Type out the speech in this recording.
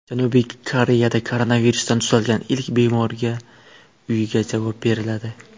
Janubiy Koreyada koronavirusdan tuzalgan ilk bemorga uyga javob beriladi.